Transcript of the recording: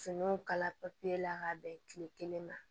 Finiw kala papiye la ka bɛn kile kelen ma